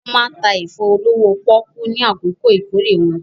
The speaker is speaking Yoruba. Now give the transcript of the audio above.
Wọ́n máa ń ta ẹ̀fọ́ olówó pọ́ọ́kú ní àkókò ìkórè wọn.